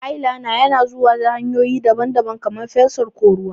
Eyeliner yana zuwa ta hanyoyi daban-daban, kamar fensir ko ruwa.